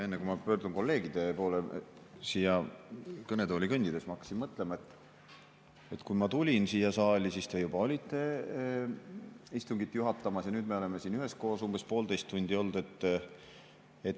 Enne kui ma pöördun kolleegide poole, siia kõnetooli kõndides ma hakkasin mõtlema, et kui ma tulin siia saali, siis te juba olite istungit juhatamas, ja nüüd me oleme siin üheskoos umbes poolteist tundi olnud.